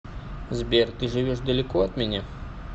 сбер ты живешь далеко от меня